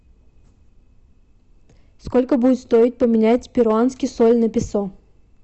сколько будет стоить поменять перуанский соль на песо